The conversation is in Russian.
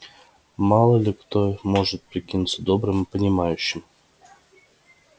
мало ли кто или может прикинуться добрым и понимающим